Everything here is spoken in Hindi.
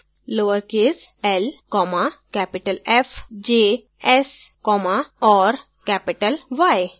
lowercase l comma capital f js comma और capital y